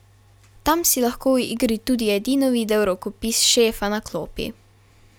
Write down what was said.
Tam si lahko v igri tudi edino videl rokopis šefa na klopi.